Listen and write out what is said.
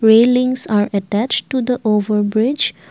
Railings are attach to the overbridge.